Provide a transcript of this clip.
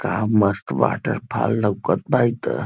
का मस्त waterfall लउकत बा इ त --